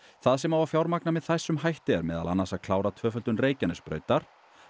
það sem á að fjármagna með þessum hætti er meðal annars að klára tvöföldun Reykjanesbrautar